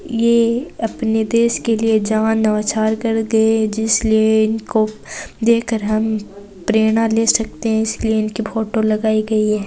यह अपने देश के लिए जान न्योछावर करते है जिस लिए इनको देखकर हम प्रेरणा ले सकते है इसलिए इसकी फोटो लगाई गई है।